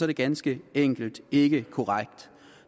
det ganske enkelt ikke korrekt